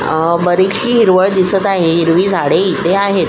अ बरीचशी हिरवळ दिसत आहे हिरवी झाडे इथे आहेत.